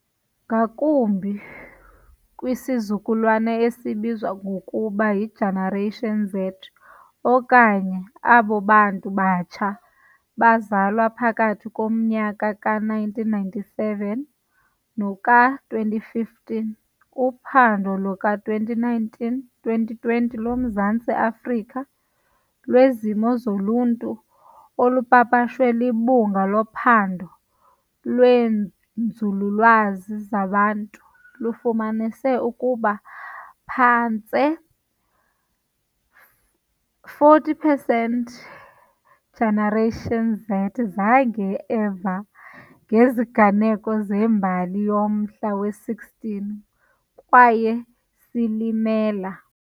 Ngakumbi kwisizukulwana esibizwa ngokuba yi-Generation Z, okanye abo bantu batsha bazalwe phakathi komnyaka ka-1997 noka-2015. Uphando luka-2019 - 2020 loMzantsi Afrika lweZimo zoLuntu olupapashwe liBhunga loPhando lweeNzululwazi zaBantu lufumanise ukuba phantse ama-40 percent Generation Z zange eva ngeziganeko zembali yomhla we-16 kweyeSilimela.